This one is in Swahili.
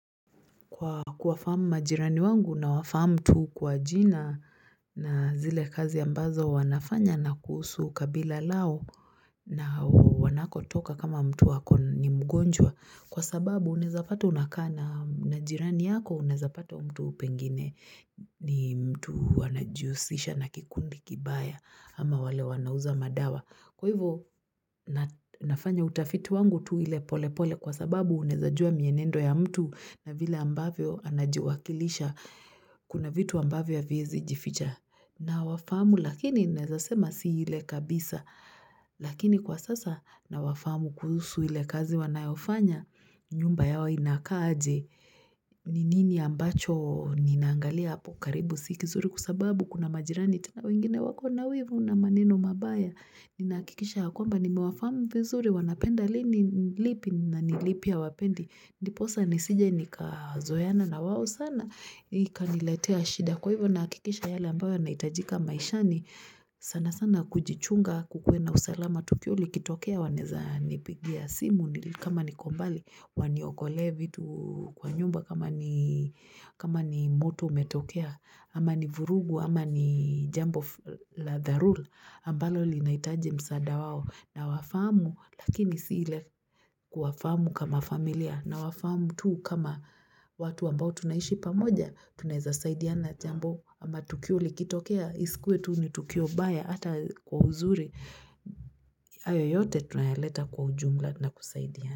Kwa kuwafahamu majirani wangu nawafahamu tu kwa jina na zile kazi ambazo wanafanya na kuhusu kabila lao na wanakotoka kama mtu wako ni mgonjwa. Kwa sababu unaeza pata unakana na jirani yako unaeza pata mtu pengine ni mtu anajihusisha na kikundi kibaya ama wale wanauza madawa. Kwa hivyo nafanya utafiti wangu tu ile polepole kwa sababu unaezajua mienendo ya mtu na vile ambavyo anajiwakilisha kuna vitu ambavyo haviwezi jificha. Na wafahamu lakini naeza sema si ile kabisa lakini kwa sasa nawafahamu kuhusu ile kazi wanayofanya nyumba yao inakaa aje ni nini ambacho ninangalia hapo karibu si kizuri kwa sababu kuna majirani tena wengine wako na wivu na maneno mabaya ninahakikisha ya kwamba nimewafahamu vizuri wanapenda lini ni lipi na ni lipi hawapendi ndiposa nisije nikazoeana na wao sana ikaniletea shida kwa hivo nahakikisha yale ambayo yanahitajika maishani sana sana kujichunga kukuwe na usalama tukio likitokea wanaeza nipigia simu kama niko mbali waniokole vitu kwa nyumba kama ni kama ni moto umetokea ama ni vurugu ama ni jambo la dharula ambalo linahitaji msaada wao na wafahamu lakini si ile kuwafahamu kama familia na wafahamu tu kama watu ambao tunaishi pamoja tunaeza saidiana jambo ama tukio likitokea iskuwe tu ni tukio mbaya hata kwa uzuri hayo yote tunayaleta kwa ujumla na kusaidiana.